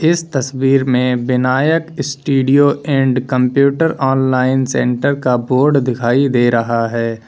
इस तस्वीर में Vinayak studio and computer online centre का बोर्ड दिखाई दे रहा है।